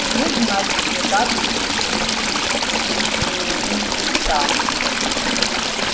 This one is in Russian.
тебе значит никак не меньше ста